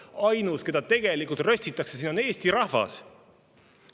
Ainus, keda tegelikult röstitakse siin, on Eesti rahvas.